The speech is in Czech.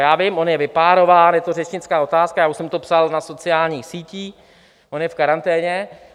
Já vím, on je vypárován, je to řečnická otázka, já už jsem to psal na sociálních sítích, on je v karanténě.